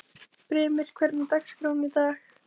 Brimir, hvernig er dagskráin í dag?